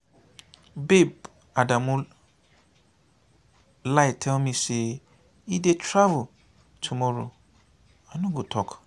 babe adamu lie tell me say he dey travel tomorrow i no go talk.